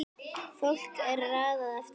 Fólki er raðað eftir aldri